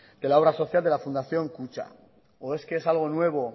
de la obra social de la fundación kutxa o es que es algo nuevo